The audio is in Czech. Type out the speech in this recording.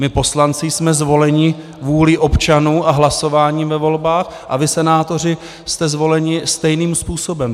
My poslanci jsme zvoleni vůlí občanů a hlasováním ve volbách, a vy senátoři jste zvoleni stejným způsobem.